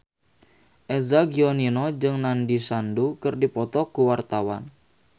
Eza Gionino jeung Nandish Sandhu keur dipoto ku wartawan